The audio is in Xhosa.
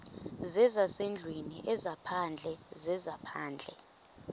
zezasendlwini ezaphandle zezaphandle